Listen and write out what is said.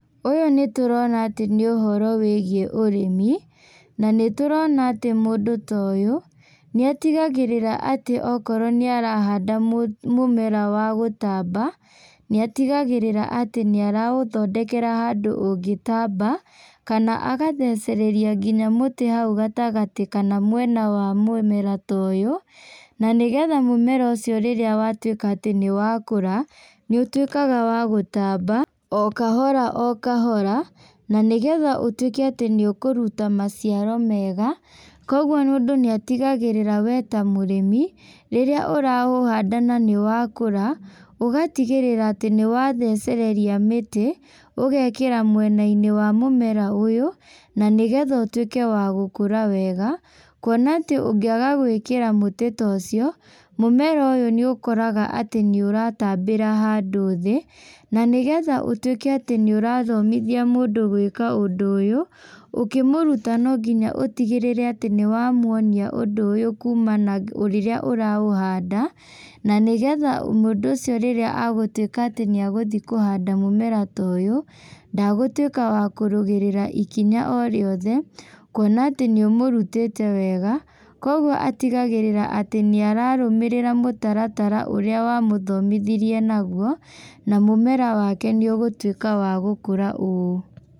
Ũyũ nĩ tũrona atĩ nĩ ũhoro wĩgiĩ ũrĩmi, na nĩ tũrona atĩ mũndũ ta ũyũ nĩ atigagĩrĩra atĩ okorwo nĩ arahanda mũmera wa gũtamba, nĩ atigagĩrĩra atĩ nĩ araũthondekera handũ ũngĩtamba kana agathecereria nginya mũtĩ hau gatagatĩ kana mwena wa mũmera ũyũ. Na nĩgetha mũmera ũcio rĩrĩa watuĩka atĩ nĩ wakũra nĩ ũtuĩkaga wa gũtamba o kahora o kahora, na nĩgetha ũtuĩke atĩ nĩ ũkũruta maciaro mega. Kwoguo mũndũ nĩ atigagĩrĩra we ta mũrĩmi rirĩa ũraũhanda na nĩwakũra, ũgatigĩrĩra atĩ nĩ wathecereria mĩtĩ ũgekĩra mwena-inĩ wa mũmera ũyũ na nĩgetha ũtuĩke wa gũkũra wega. Kuona atĩ ũngĩaga gwĩkĩra mũtĩ ta ũcio, mũmera ũyũ nĩ ũkoraga atĩ nĩ ũratambĩra handũ thĩ. Na nĩgetha atĩ ũtuĩke atĩ nĩ ũrathomithia mũndũ ũndũ ta ũyũ, ũkĩmuruta no nginya ũtigĩrĩre atĩ nĩ wamuonia ũndũ ũyũ kuma na rĩrĩa ũraũhanda. Na nĩgetha mũndũ ũcio rĩrĩa agũtuĩka atĩ nĩ egũthiĩ kũhanda mũmera ta ũyũ, ndagũtuĩka wa kũrũgĩrĩra ikinya o rĩothe. Kuona atĩ nĩ ũmũrutĩte wega, kwoguo atigagĩrĩra atĩ nĩ ararũmĩrĩra mũtaratara ũrĩa wamũthomithirie naguo, na mũmera wake nĩ ũgũtuĩka wa gũkũra ũũ.